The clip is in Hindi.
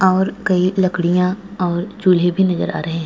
और कई लकड़ियां और चूलें भी नज़र आ रहे हैं।